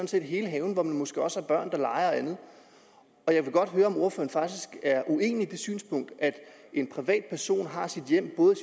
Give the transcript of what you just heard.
set er hele haven hvor man måske også har børn der leger og andet jeg vil godt høre om ordføreren faktisk er uenig i det synspunkt at en privat person har sit hjem både